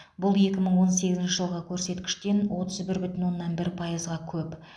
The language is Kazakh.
бұл екі мың он сегізінші жылғы көрсеткіштен отыз бір бүтін оннан бір пайызға көп